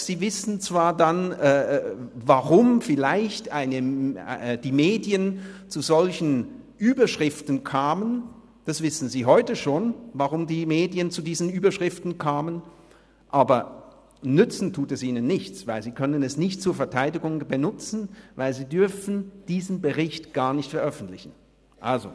Sie wissen zwar dann vielleicht, weshalb die Medien zu solchen Überschriften kamen – sie wissen heute schon, wie die Medien zu diesen Überschriften kamen –, aber nützen tut es ihnen nichts, weil sie es nicht zur Verteidigung benutzen können, da sie diesen Bericht gar nicht veröffentlichen dürfen.